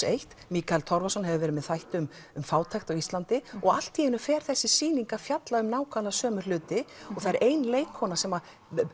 eins Mikael Torfason hefur verið með þætti um um fátækt á Íslandi og allt í einu fer þessi sýning að fjalla um nákvæmlega sömu hluti og það er ein leikkona sem